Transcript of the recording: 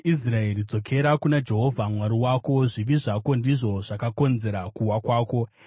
Iwe Israeri, dzokera kuna Jehovha Mwari wako. Zvivi zvako ndizvo zvakauyisa kuwa kwako!